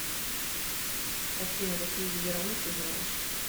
афина какие виды рамн ты знаешь